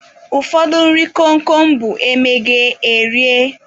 Ụfọdụ nri kom kom bụ e meghee, erie